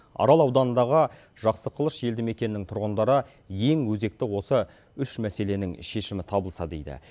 арал ауданындағы жақсықылыш елді мекенінің тұрғындары ең өзекті осы үш мәселенің шешімі табылса дейді